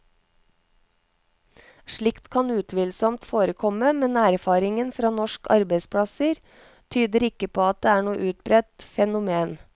Slikt kan utvilsomt forekomme, men erfaringen fra norske arbeidsplasser tyder ikke på at det er noe utbredt fenomen.